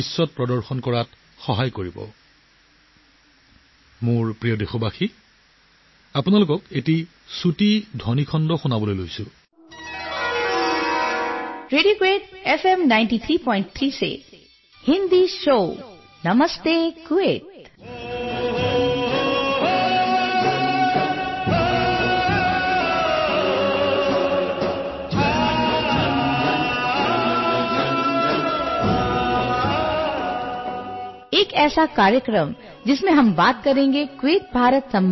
গতিকে এই ধাৰা বজাই ৰাখক আপোনালোকেও ধাৰাবাহিকভাৱে ভাৰতৰ যাদু বিশ্বক দেখুৱাবলৈ সহায় কৰিব